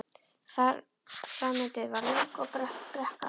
Framundan var löng og brött brekka.